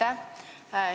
Aitäh!